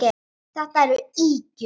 Þetta eru ýkjur!